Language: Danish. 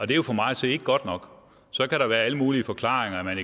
det er for mig at se ikke godt nok så kan der være alle mulige forklaringer at man